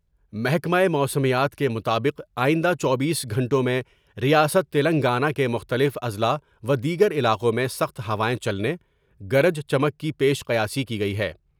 محکمہ موسمیات کے مطابق آئندہ چوبیس گھنٹوں میں ریاست تلنگانہ کے مختلف اضلاع و دیگر علاقوں میں سخت ہوائیں چلنے ، گرج چمک کی پیش قیامی کی گئی ہے ۔